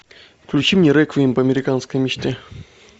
включи мне реквием по американской мечте